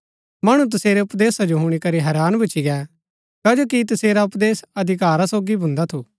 मणु तसेरै उपदेशा जो हुणी करी हैरान भूच्ची गै कजो कि तसेरा उपदेश अधिकारा सोगी भुन्दा थू